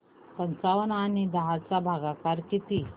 पंचावन्न आणि दहा चा भागाकार किती